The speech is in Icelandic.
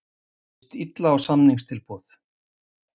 Líst illa á samningstilboð